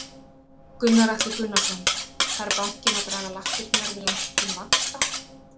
Gunnar Atli Gunnarsson: Þarf bankinn að draga lappirnar við lækkun vaxta?